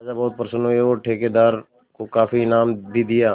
राजा बहुत प्रसन्न हुए और ठेकेदार को काफी इनाम भी दिया